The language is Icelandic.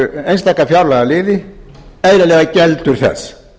einstaka fjárlagaliði eðlilega geldur þess